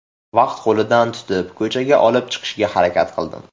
Va qo‘lidan tutib, ko‘chaga olib chiqishga harakat qildim.